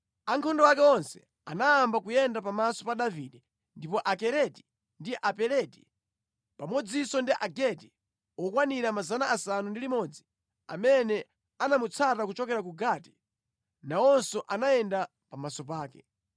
Ankhondo ake onse anayamba kuyenda pamaso pa Davide, ndipo Akereti ndi Apeleti, pamodzinso ndi Agiti okwanira 600 amene anamutsata kuchokera ku Gati, nawonso anayenda pamaso pake.